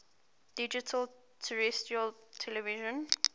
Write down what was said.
digital terrestrial television